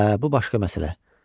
Hə, bu başqa məsələ.